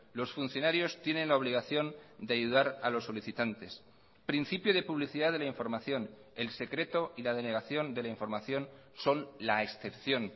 los funcionarios tienen la obligación de ayudar a los solicitantes principio de publicidad de la información el secreto y la denegación de la información son la excepción